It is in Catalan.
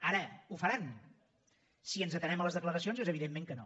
ara ho faran si ens atenem a les declaracions és evident que no